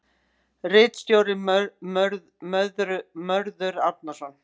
Ritstjóri Mörður Árnason.